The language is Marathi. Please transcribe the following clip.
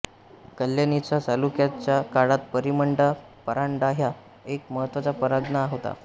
कल्याणीच्या चालुक्यांच्या काळात परिमंडा परांडाहा एक महत्त्वाचा परगणा होता